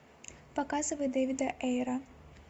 показывай дэвида эйра